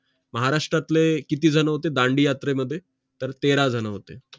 महाराष्ट्रातले किती जण होते दांडीयात्रेमध्ये तर तेरा जण होते